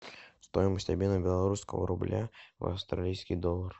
стоимость обмена белорусского рубля в австралийский доллар